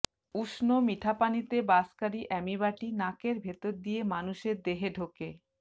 উষ্ণ মিঠাপানিতে বাসকারী অ্যামিবাটি নাকের ভেতর দিয়ে মানুষের দেহে ঢোকে